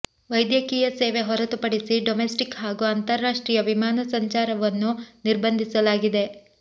ವೈದ್ಯಕೀಯ ಸೇವೆ ಹೊರತುಪಡಿಸಿ ಡೊಮೆಸ್ಟಿಕ್ ಹಾಗೂ ಅಂತಾರಾಷ್ಟ್ರೀಯ ವಿಮಾನ ಸಂಚಾರವನ್ನು ನಿರ್ಬಂಧಿಸಲಾಗಿದೆ